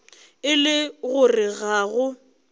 e le gore ga go